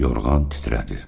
Yorğan titrədi.